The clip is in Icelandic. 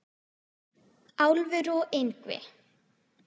Álfur og Yngvi